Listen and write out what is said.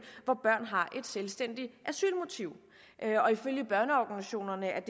hvor børn har et selvstændigt asylmotiv og ifølge børneorganisationerne er